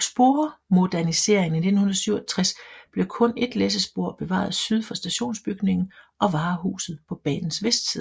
spormoderniseringen i 1967 blev kun et læssespor bevaret syd for stationsbygningen og varehuset på banens vestside